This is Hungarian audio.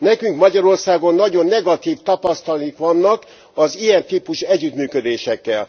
Nekünk Magyarországon nagyon negatív tapasztalataink vannak az ilyen típusú együttműködésekről.